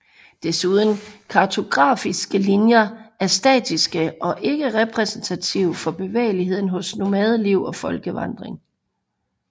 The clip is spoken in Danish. Desuden kartografiske linjer er statiske og ikke repræsentative for bevægeligheden hos nomadeliv og folkevandring